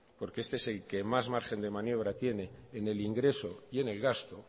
porque este es el que más margen de maniobra tiene en el ingreso y en el gasto